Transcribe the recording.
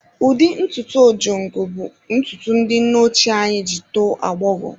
Ụdị ntutu Ojongo bụ ntutu ndị nne ochie anyị ji tọọ agbọghọ.